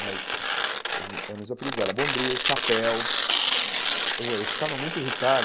Mas eles me eh os meus apelidos era Bombril, Chapéu... Eu eu ficava muito irritado,